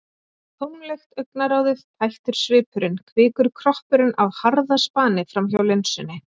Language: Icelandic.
Tómlegt augnaráðið, tættur svipurinn- kvikur kroppurinn á harðaspani framhjá linsunni.